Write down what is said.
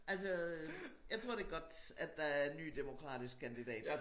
Altså øh jeg tror det godt at der er en ny demokratisk kandidat